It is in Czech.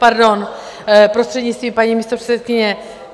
Pardon, prostřednictvím paní místopředsedkyně.